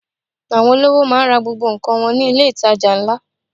Àwọn olówò máa ń ra gbogbo nǹkan wọn ní ilé-itàjà ńlá.